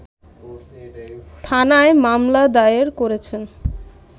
থানায় মামলা দায়ের করেছেন